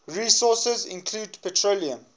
resources include petroleum